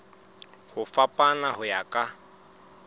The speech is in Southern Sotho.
ho fapana ho ya ka